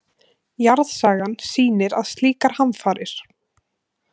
Jarðsagan sýnir að slíkar hamfarir.